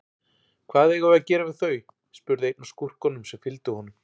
Hvað eigum við að gera við þau, spurði einn af skúrkunum sem fylgdu honum.